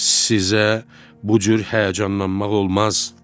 Sizə bu cür həyəcanlanmaq olmaz.